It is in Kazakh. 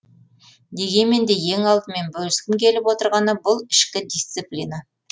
дегенмен де ең алдымен бөліскім келіп отырғаны бұл ішкі дисциплина